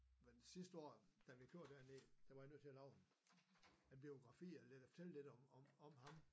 Men sidste år da vi kørte derned der var jeg nødt til at lave en biografi eller fortælle lidt om ham